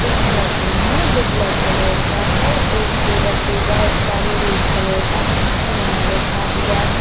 एक मसीन है जो ब्लैक कलर का है एक टेबल पे बहुत सारे रेड कलर का सामान रखा हुआ है।